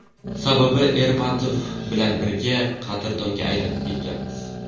Sababi Ermatov bilan birga qadrdonga aylanib ketganmiz.